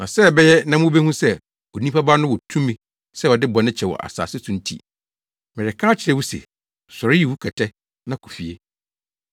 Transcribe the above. Na sɛ ɛbɛyɛ na mubehu sɛ Onipa Ba no wɔ tumi sɛ ɔde bɔne kyɛ wɔ asase so nti.” Mereka akyerɛ wo se, “Sɔre yi wo kɛtɛ na kɔ fie!”